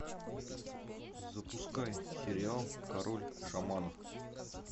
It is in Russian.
запускай сериал король шаманов